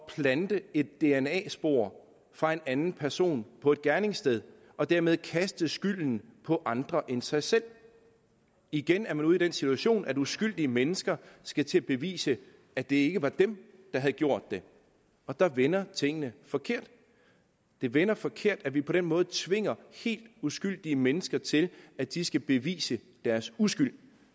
plante et dna spor fra en anden person på et gerningssted og dermed kaste skylden på andre end sig selv igen er man ude i den situation at uskyldige mennesker skal til at bevise at det ikke er dem der har gjort det og der vender tingene forkert det vender forkert at vi på den måde tvinger helt uskyldige mennesker til at de skal bevise deres uskyld og